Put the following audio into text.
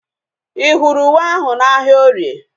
Ị hụrụ uwe ahu na ahịa orie?